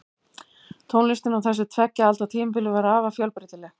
Tónlistin á þessu tveggja alda tímabili var afar fjölbreytileg.